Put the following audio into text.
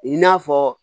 I n'a fɔ